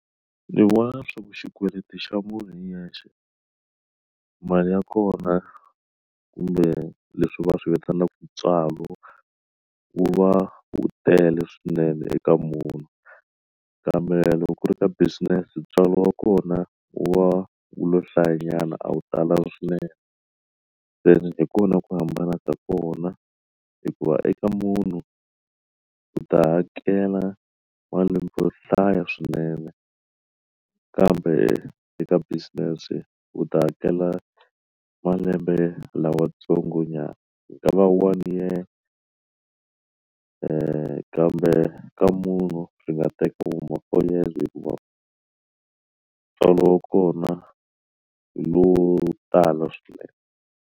Ndzi vona swi va xikweleti xa munhu hi yexe mali ya kona kumbe leswi va swi vitanaka ntswalo wu va wu tele swinene eka munhu kambe loko ku ri ka business ntswalo wa kona wa u lo hlaya nyana a wu lo tala swinene ene hi kona ku hambana ka kona hikuva eka munhu u ta hakela malembe yo hlaya swinene kambe eka business u ta hakela malembe lamatsongo nyana ku nga va one year kambe ka munhu byi nga Teka vu ma four years hikuva ntswalo wa kona hi wo tala swinene.